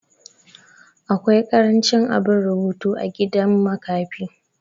awki karancin abin rubutu a gidan makafi